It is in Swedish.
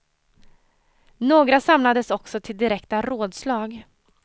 Några samlades också till direkta rådslag.